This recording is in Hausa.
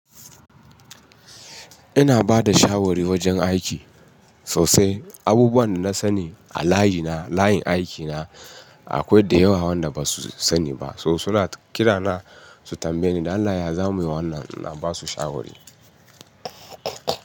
Ina bada shawari wajen aiki sosai. Abubuwan da nasani a layina, layin aikina akwai da yawa wanda ba su sani ba. So suna kirana su tambaye ni. Allah ya zamu yiwa wannan, ina basu shawari.